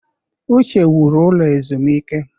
Uche wuru ụlọ ezumike.